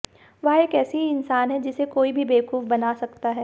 वह एक ऐसी इंसान है जिसे कोई भी बेवकूफ बना सकता है